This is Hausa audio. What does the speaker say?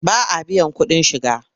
Ba a biyan kuɗin shiga.